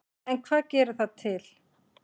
En hvað gerir það til